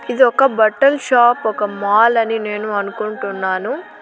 ఇది ఒక బట్టల షాప్ ఒక మాల్ అని నేను అనుకుంటున్నాను.